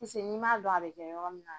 Piseke n'i m'a dɔn a bɛ kɛ yɔrɔ min na